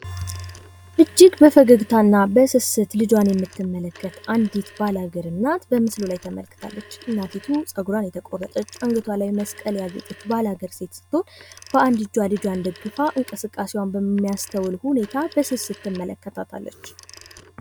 እጅግ በፈገግታና በስስት ልጇን የምትመለከት አንዲት ባላገር እናት በምስሉ ላይ ተመልክታለች። እናቲቱ ጸጉሯን የተቆረጠች ፣ አንገቷ ላይ መስቀል ያሰረች ስትሆን በአንድ እጇ ልጇን ይዛ እንቅስቃሴዋን በሚያስተውል መልኩ ልጇን ትመለከታለች።